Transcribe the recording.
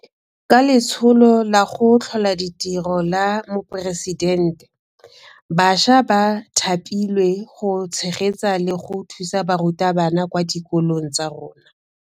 Ka Letsholo la go Tlhola Ditiro la Moporesidente, bašwa ba thapilwe go tshegetsa le go thusa barutabana kwa dikolong tsa rona.